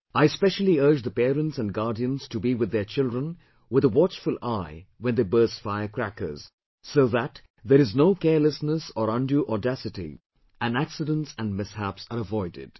I specially urge the parents and guardians to be with their children with a watchful eye when they burst firecrackers, so that there is no carelessness or undue audacity and accidents and mishaps are avoided